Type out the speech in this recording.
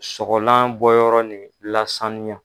Sɔgɔlan bɔ yɔrɔ nin lasanya.